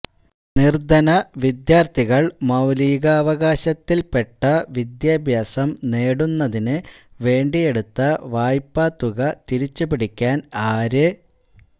നിര്ധന വിദ്യാര്ഥികള് മൌലികാവകാശത്തില്പെട്ട വിദ്യാഭ്യാസം നേടുന്നതിന് വേണ്ടിയെടുത്ത വായ്പ തുക തിരിച്ചു പിടിക്കാന് ആര്